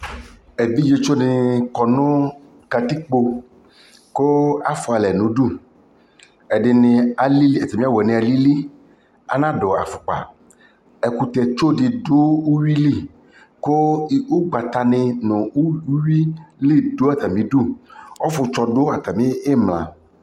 ɛvidzɛ tsɔ dini kɔnʋ katikpɔ kʋ aƒʋa alɛ nʋ ʋdʋ, ɛdiniatami awʋ wani alili, anadʋ aƒʋkpa, ɛkʋtɛ tsɔ di dʋ ʋwili kʋ ɔgbata ni nʋ ʋwi dʋatami idʋ, ɔƒʋtsɔ dʋ atami imla